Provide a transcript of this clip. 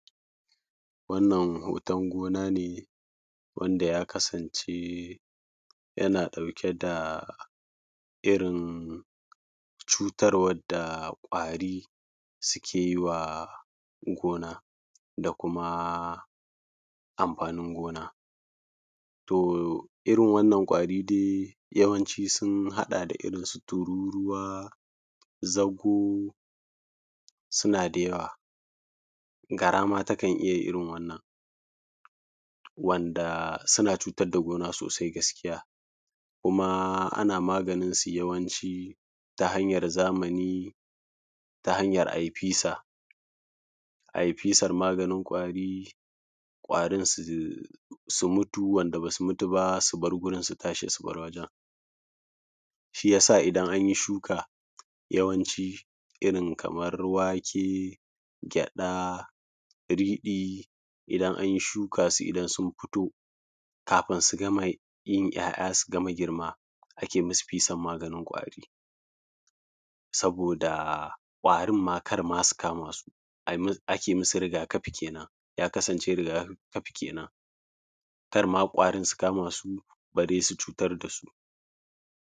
wannan hoton gona ne wanda ya kasance yana ɗauke da irin cutarwar da ƙwari suke yi wa gona da kuma amfanin gona to irin wannan ƙwari dai yawanci ya haɗa da irin su tururuwa zago suna da yawa gara ma takan iya yin irin wannan wanda suna cutar da gona sosai gaskiya kuma ana maganinsu yawanci ta hanyar zamani ta hanyar a yi fisa a yi fisar maganin ƙwari ƙwarin su mutu wanda ba su mutu ba su bar gurin su tashi su bar wajen shi ya sa idan an yi shuka yawanci irin kamar wake gyaɗa riɗi idan an yi shuka su idan sun fito kafin su gama yin ‘ya’ya su gama girma ake musu fisar maganin ƙwari saboda ƙwarin ma kar ma su kama su a yi musu ake musu riga kafi kenan ya kasance riga kafi kenan kar ma ƙwarin su kama su bare su cutar da su